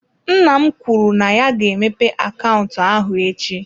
Nna m kwuru na ya ga-emepe akaụntụ ahụ echi.